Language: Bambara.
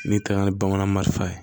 N'i taara ni bamanan marise ye